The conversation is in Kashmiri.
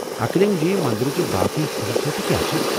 اکلنٛگ جی منٛدرٕچہِ باقٕے خصوصیتہٕ کیٛاہ چھے٘؟